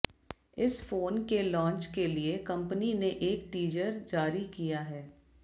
इस फोन के लॉन्च के लिए कंपनी ने एक टीजर जारी किया है